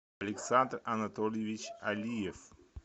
александр анатольевич алиев